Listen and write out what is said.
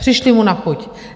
Přišli mu na chuť.